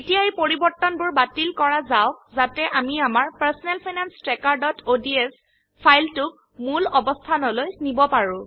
এতিয়া এই পৰিবৰ্তনবোৰ বাতিল কৰা যাওক যাতে আমি আমাৰ personal finance trackerঅডছ ফাইল টোক মূল অবস্থানলৈ নিব পাৰো